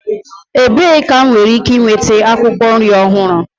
Ebee ka m nwere ike nweta akwụkwọ nri ọhụrụ?